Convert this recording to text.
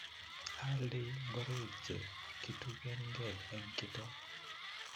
Aaldei ngoroik che kitugengei eng' kitok